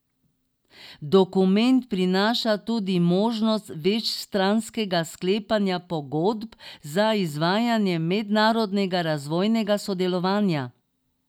Dokument prinaša tudi možnost večstranskega sklepanja pogodb za izvajanje mednarodnega razvojnega sodelovanja.